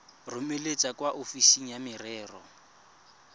romele kwa ofising ya merero